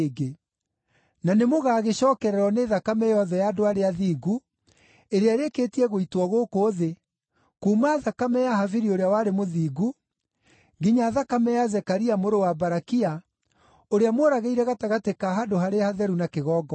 Na nĩmũgagĩcookererwo nĩ thakame yothe ya andũ arĩa athingu, ĩrĩa ĩrĩkĩtie gũitwo gũkũ thĩ, kuuma thakame ya Habili ũrĩa warĩ mũthingu, nginya thakame ya Zekaria mũrũ wa Barakia, ũrĩa mworagĩire gatagatĩ ka Handũ-harĩa-Hatheru na kĩgongona.